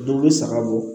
Dɔw bɛ saga bɔ